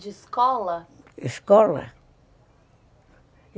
De escola? Escola?